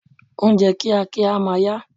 Ohunjẹ́ kíákíá a máa ya